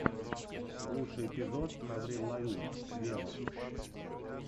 лучший эпизод аврил лавин вево